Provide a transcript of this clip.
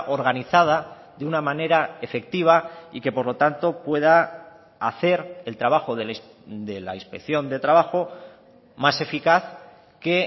organizada de una manera efectiva y que por lo tanto pueda hacer el trabajo de la inspección de trabajo más eficaz que